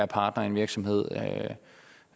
partnere i en virksomhed